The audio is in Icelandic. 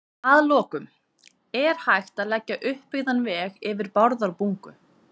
Að lokum: Er hægt að leggja uppbyggðan veg yfir Bárðarbungu?